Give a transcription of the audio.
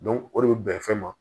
o de bɛ bɛn fɛn ma